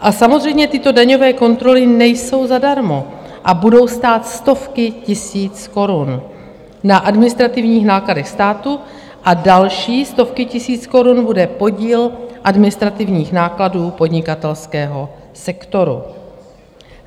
A samozřejmě tyto daňové kontroly nejsou zadarmo a budou stát stovky tisíc korun na administrativních nákladech státu a další stovky tisíc korun bude podíl administrativních nákladů podnikatelského sektoru.